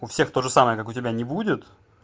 у всех тоже самое как у тебя не будет